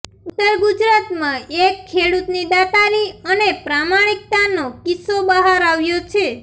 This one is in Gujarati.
ઉત્તર ગુજરાતમાં એક ખેડૂતની દાતારી અને પ્રામાણિકતાનો કિસ્સો બહાર આવ્યો છે